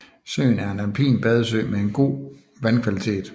Søen er en alpin badesø med en god vandkvalitet